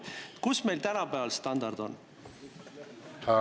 Kuidas meil tänapäeval standardiga on?